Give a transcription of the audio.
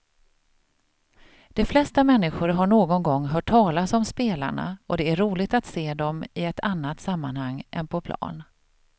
De flesta människor har någon gång hört talas om spelarna och det är roligt att se dem i ett annat sammanhang än på plan.